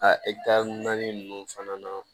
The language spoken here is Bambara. A naani ninnu fana na